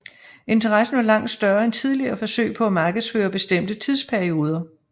Interessen var langt større end tidligere forsøg på at markedsføre bestemte tidsperioder